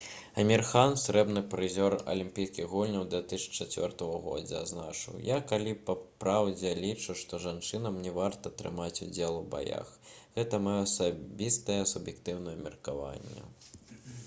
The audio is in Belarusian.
амір хан срэбны прызёр алімпійскіх гульняў 2004 г. адзначыў: «я калі па праўдзе лічу што жанчынам не варта прымаць удзел у баях. гэта маё асабістае суб'ектыўнае меркаванне»